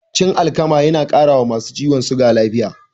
Cin alkama na ƙara wa masu ciwon suga lafiya